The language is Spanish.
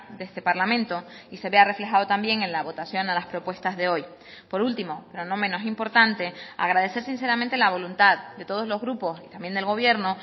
de este parlamento y se vea reflejado también en la votación a las propuestas de hoy por último no menos importante agradecer sinceramente la voluntad de todos los grupos y también del gobierno